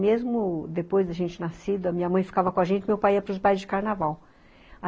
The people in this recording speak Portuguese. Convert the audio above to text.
Mesmo depois da gente nascido, a minha mãe ficava com a gente, meu pai ia para os bailes de carnaval.